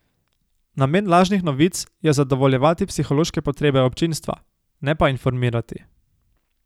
Namen lažnih novic je zadovoljevati psihološke potrebe občinstva, ne pa informirati.